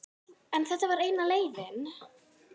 En þetta var eina leiðin.